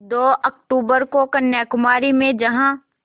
दो अक्तूबर को कन्याकुमारी में जहाँ